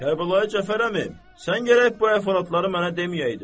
Kərbəlayi Cəfər əmi, sən gərək bu əhvalatları mənə deməyəydin.